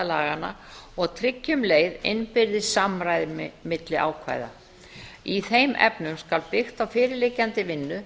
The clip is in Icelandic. laganna og tryggja um leið innbyrðis samræmi milli ákvæða í þeim efnum skal byggt á fyrirliggjandi vinnu